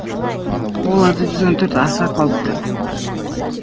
оларда жүз он төрт аса қауіпті